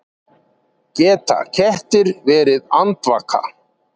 Geta kettir verið andvaka?